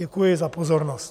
Děkuji za pozornost.